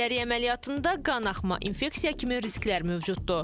Keysəriyyə əməliyyatında qanaxma, infeksiya kimi risklər mövcuddur.